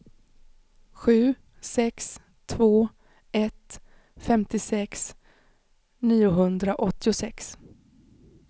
sju sex två ett femtiosex niohundraåttiosex